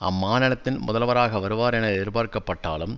அம்மாநிலத்தின் முதல்வராக வருவார் என எதிர்பார்க்கப்பட்டாலும்